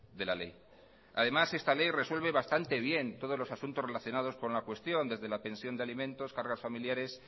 de la ley además esta ley resuelve bastante bien todos los asuntos relacionados con la cuestión desde la pensión de alimentos cargas familiares